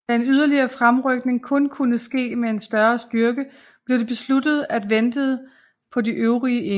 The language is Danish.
Da en yderligere fremrykning kun kunne ske med en større styrke blev det besluttet at ventede på de øvrige enheder